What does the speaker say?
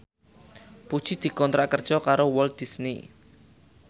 Puji dikontrak kerja karo Walt Disney